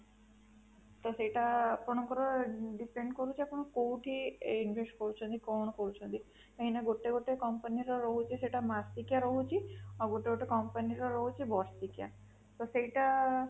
ତ ସେଟା ଆପଣଙ୍କର depend କରୁଛି ଆପଣ କୋଉଠି invest କରୁଛନ୍ତି କଣ କରୁଛନ୍ତି କାହିଁକି ନା ଗୋଟେ ଗୋଟେ company ର ରହୁଛି ସେଟା ମାସିକିଆ ରହୁଛି ଆଉ ଗୋଟେ ଗୋଟେ company ର ରହୁଛି ବର୍ଷିକିଆ ତ ସେଟା